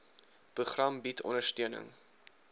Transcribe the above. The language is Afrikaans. program bied ondersteuning